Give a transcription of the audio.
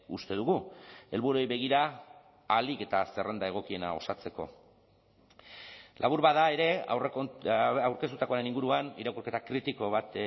uste dugu helburuei begira ahalik eta zerrenda egokiena osatzeko labur bada ere aurkeztutakoaren inguruan irakurketa kritiko bat